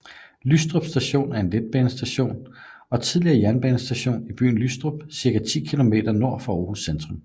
Lystrup Station er en letbanestation og tidligere jernbanestation i byen Lystrup cirka 10 km nord for Aarhus centrum